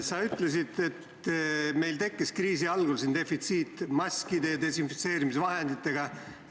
Sa ütlesid, et meil tekkis kriisi algul maskide ja desinfitseerimisvahendite defitsiit.